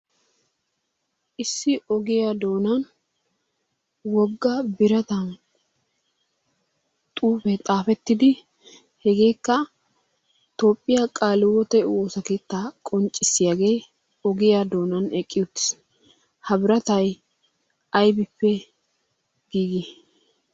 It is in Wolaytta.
Issi ogiyaa doona woggaa biratan xuufe xaafettidi hegekka Toophiyaa kaalihiwoote woossaa keettaa qonccissiyaage ogiyaa doonan eqqi uttiis. Ha biratay aybbippe giigi?